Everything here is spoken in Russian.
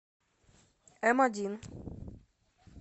эм один